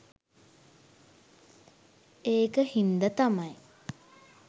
ඒක හින්ද තමයි